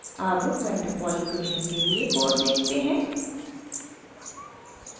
अब van der pol equation के लिए कोड देखते हैं